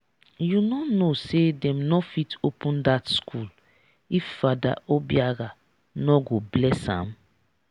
you no know say dem no fit open dat school if father obiagha no go bless am?